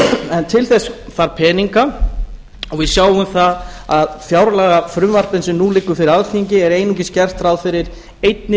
en til þess þarf peninga og við sjáum það að í fjárlagafrumvarpinu sem nú liggur fyrir alþingi er einungis gert ráð fyrir einni